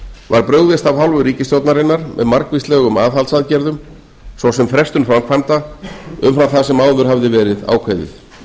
var brugðist af hálfu ríkisstjórnarinnar með margvíslegum aðhaldsaðgerðum svo sem frestun framkvæmda umfram það sem áður hafði verið ákveðið